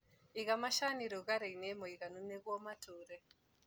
Iga macani rũgarĩinĩ mũiganu nĩguo matũre.